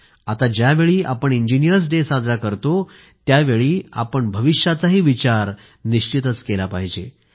आता ज्यावेळी आपण इंजिनीअर्स डे साजरा करतो त्यावेळी आपण भविष्याचाही विचार निश्चितच केला पाहिजे